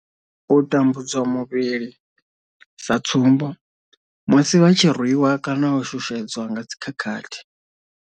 U tambudzwa muvhili sa tsumbo, musi vha tshi rwiwa kana u shushedzwa nga dzi khakhathi.